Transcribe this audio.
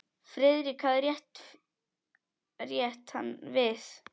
Friðrik hafði rétt hann við.